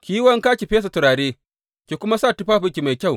Ki yi wanka ki fesa turare, ki kuma sa tufafinki mafi kyau.